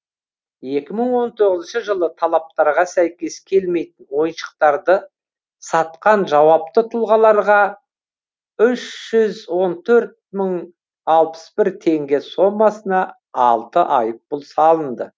екі мың он тоғызыншы жылы талаптарға сәйкес келмейтін ойыншықтарды сатқан жауапты тұлғаларға үш жүз он төрт мың алпыс бір теңге сомасына алты айыппұл салынды